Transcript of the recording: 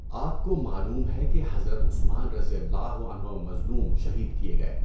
آپ کو معلوم ہے کہ حضرت عثمان رضی اللہ عنہ مظلوم، شہید کیے گئے۔